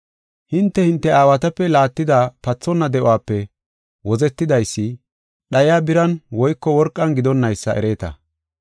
Hinte, hinte aawatape laattida pathonna de7uwape wozetidaysi, dhayiya biran woyko worqan gidonnaysa ereeta.